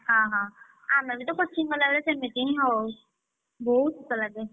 ହଁ ହଁ ଆମେ ବି ତ coaching ଗଲାବେଳେ ସେମିତି ହିଁ ହଉ ବହୁତ୍ ଶୀତ ଲାଗେ।